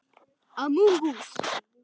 Sama fólk.